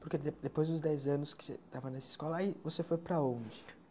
Porque de depois dos dez anos que você estava nessa escola, aí você foi para onde?